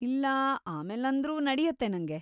ಇಲ್ಲಾ ಆಮೇಲಂದ್ರೂ ನಡ್ಯುತ್ತೆ ನಂಗೆ.